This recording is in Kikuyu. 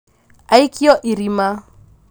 aikio irima